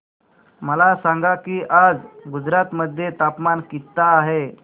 मला सांगा की आज गुजरात मध्ये तापमान किता आहे